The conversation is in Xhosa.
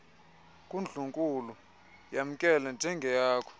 kundlunkulu yamkele njengeyakho